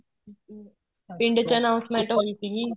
ਪਿੰਡ ਚ announcement ਹੋਈ ਸੀਗੀ